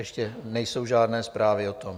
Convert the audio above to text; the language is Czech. Ještě nejsou žádné zprávy o tom.